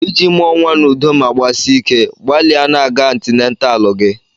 Iji mụọ nwa n'udo ma gbasie ike, gbalịa na-aga antinatalụ gị.